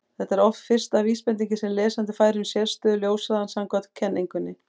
þetta er oft fyrsta vísbendingin sem lesandi fær um sérstöðu ljóshraðans samkvæmt kenningunni